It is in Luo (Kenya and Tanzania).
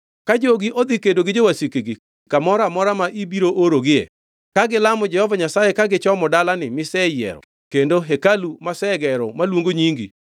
“Ka jogi odhi kedo gi jowasikgi, kamoro amora ma ibiro orogie, ka gilamo Jehova Nyasaye ka gichomo dalani miseyiero kendo hekalu masegero maluongo nyingi;